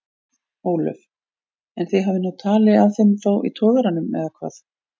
Ólöf: En þið hafið náð tali af þeim þá í togaranum eða hvað?